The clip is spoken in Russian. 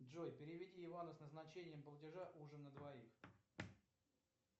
джой переведи ивану с назначением платежа ужин на двоих